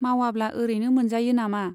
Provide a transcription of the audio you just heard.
मावाब्ला ओरैनो मोनजायो नामा ?